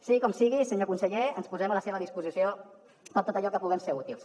sigui com sigui senyor conseller ens posem a la seva disposició per a tot allò que puguem ser útils